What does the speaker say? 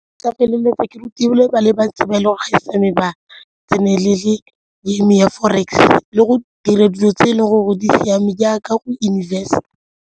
Ke tla feleletsa ke ba le bantsi ba e leng go gaisa mme ba tsenelele game-e ya forex le go dira dilo tse e leng gore di siame jaaka go invest.